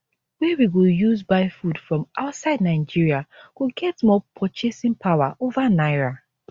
wey we go use buy food from outside nigeria go get more purchasing power over naira